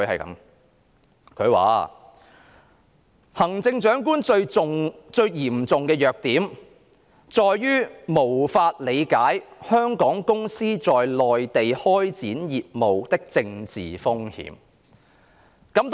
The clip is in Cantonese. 他寫："行政長官最嚴重的弱點在於無法理解香港公司在內地開展業務的政治風險"。